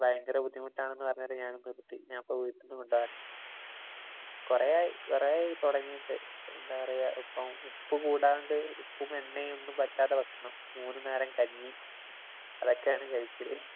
ഭയങ്കര ബുദ്ധിമുട്ടാണെന്ന് പറഞ്ഞിട്ട് ഞാന്‍ നിര്‍ത്തി. ഞാനിപ്പം വീട്ടീന്ന് കൊണ്ട് പോവുകയാണ്. കൊറെയായി കൊറെയായി തൊടങ്ങിയിട്ട്. എന്താ പറയ്ക ഇപ്പം ഉപ്പു കൂടാണ്ട് ഉപ്പും എണ്ണയും ഒന്നും പറ്റാത്ത ഭക്ഷണം. മൂന്നു നേരം കഞ്ഞി. അതൊക്കെയാണ്‌ കഴിക്കല്.